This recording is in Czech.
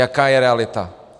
Jaká je realita?